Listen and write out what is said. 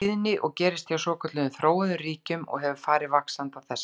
tíðni og gerist hjá svokölluðum þróuðum ríkjum og hefur farið vaxandi á þessari öld.